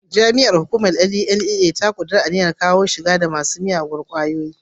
Jami'ar hukumar NDLEA ya kudarta a niyyar kawo karshen masu shigo da miyagun kwayoyi.